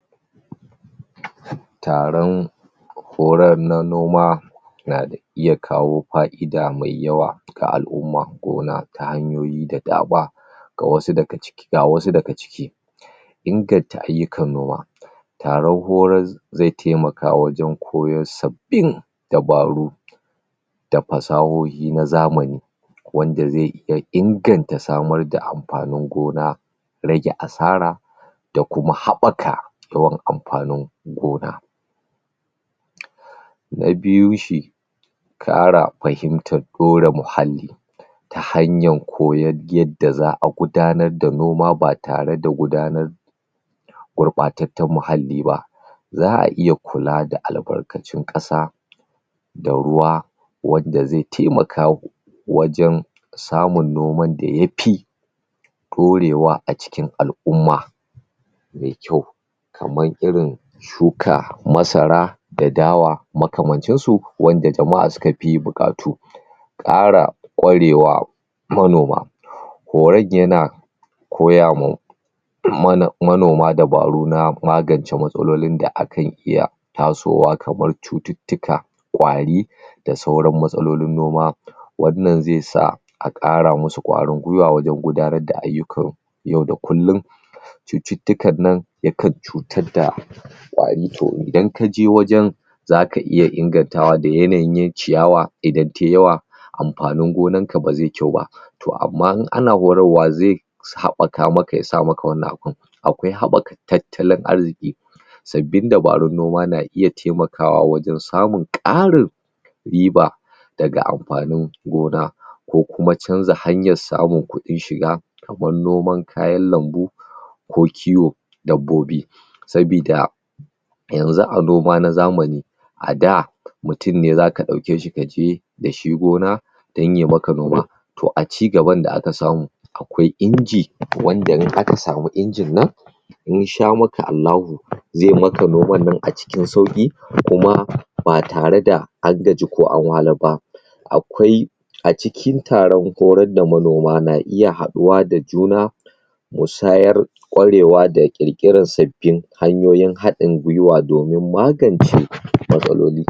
Taron horar na noma na da iya kawo fai'da mai yawa ga al'umma gona ta hanyoyi da dama ga wasu daga ci ga wasu daga ciki. Inganta ayyukan noma taron horaz zai taimaka wajan koyo sabbin dabaru da fasahohi na zamani wanda zai ya inganta samar da anfanin gona rage asara da kuma haɓaka yawan anfanin gona. na biyu shi ƙara fahimtar ɗore muhalli ta hanya koyar yadda za'a gudanar da noma batare da guda nar gurɓatattan mhalli ba za'a iya kula da al'barkacin Ƙasa da ruwa wanda zai taimaka gu wajan samun noman daya fi ɗorewa acikin al'umma mai kyau kaman irin shuka masara da dawa makamancin su wanda jama'a suka fi buƙatu kara ƙwarewa manoma horon yana koya ma mana manoma dabaru na magance matsalolin da akan iya tasowa kabar cututtuka ƙwari da sauran matsalolin noma wannan zai sa a ƙara musu ƙwarin gwiwa wajan gudanar da ayyukan yau da kullun cututtukan nan yakan cutad da ƙwari to idan kaje wajan zaka iya ingantawa da yanayin yayi ciyawa idan tayi yawa anfanin gonan ka bazaiyi kyau ba to amma in ana horarwa zai sa haɓaka maka yasa maka wannan abun akwai haɓaka tattalin arziki sabbin dabarun noma na iya taimakawa wajen samun ƙarin riba daga anfanin gona kokuma canza hanyan samun ƙuɗin shiga kaman noman kayan lambu ko kiwo dabbobi sabida yanzu a noma na zamani a da mutun ne zaka ɗauke shi kaje da shi gona dan yamaka noma toh acigaban da aka samu akwai inji wanda in akasamu injin nan in sha maka ALLAHU zai maka noman nan acikin sauƙi kuma batare da an gaji ko anwahlar ba akwai acikin taron horar da manoma na iya haɗuwa da juna musayar ƙwarewa da kirkiran sabbin hanyoyin haɗin gwiwa domin magance matsaloli